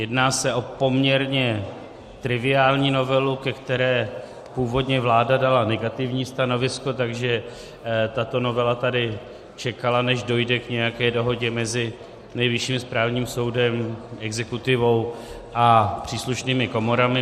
Jedná se o poměrně triviální novelu, ke které původně vláda dala negativní stanovisko, takže tato novela tady čekala, než dojde k nějaké dohodě mezi Nejvyšším správním soudem, exekutivou a příslušnými komorami.